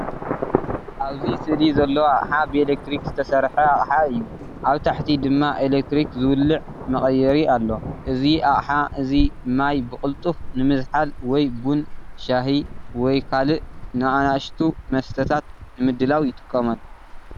ኣብ ስእሊ ዘሎ ኣቕሓ ብኤሌክትሪክ ዝተሰርሐ ኣቅሓ እዩ። ኣብ ታሕቲ ድማ ኤሌክትሪክ ዝውልዕ መቐየሪ ኣሎ። እዚ ኣቅሓ እዚ ማይ ብቕልጡፍ ንምዝሓል ወይ ቡን፡ ሻሂ ወይ ካልእ ንኣሽቱ መስተታት ንምድላው ይጥቀመሉ።